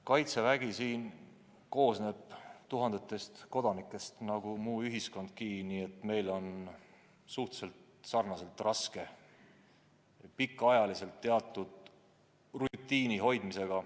Kaitsevägi koosneb tuhandetest kodanikest nagu muu ühiskondki, nii et meil on samamoodi suhteliselt raske pikka aega teatud rutiini hoida.